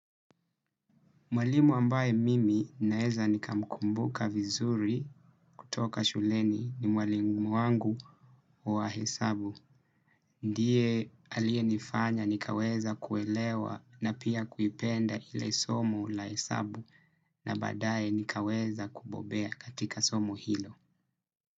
Mwalimu ambaye mimi naeza nikamukumbuka vizuri kutoka shuleni ni mwalimu wangu wa hesabu. Ndiye alie nifanya nikaweza kuelewa na pia kuipenda hile somo la hesabu na baadaye nikaweza kubobea katika somo hilo.